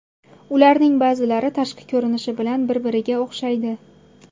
Ularning ba’zilari tashqi ko‘rinishi bilan bir-biriga o‘xshaydi.